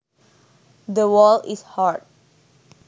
The wall is hard